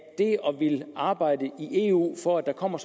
ville arbejde i eu for at der kommer